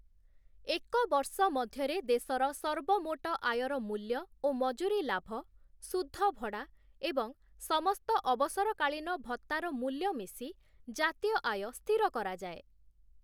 ଏକ ବର୍ଷ ମଧ୍ୟରେ ଦେଶର ସର୍ବମୋଟ ଆୟର ମୂଲ୍ୟ ଓ ମଜୁରୀ ଲାଭ, ସୁଧ ଭଡ଼ା ଏବଂ ସମସ୍ତ ଅବସର କାଳୀନ ଭତ୍ତାର ମୂଲ୍ୟ ମିଶି ଜାତୀୟ ଆୟ ସ୍ଥିର କରାଯାଏ ।